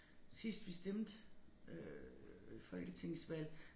Sidst vi stemte øh folketingsvalg